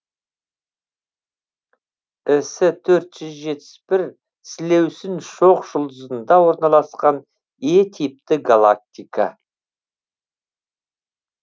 ісі төрт жүз жетпіс бір сілеусін шоқжұлдызында орналасқан е типті галактика